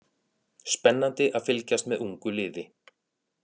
Spennandi að fylgjast með ungu liði